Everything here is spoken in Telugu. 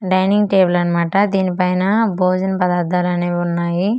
డైనింగ్ టేబుల్ అన్నమాట దీనిపైనా భోజన పదార్థాలన్నీ వున్నాయి బాక్స్ లో.